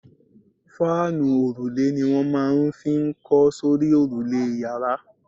Fáànù òrùlé ni wọ́n máa n fi kọ́ sórí òrùlé yàrá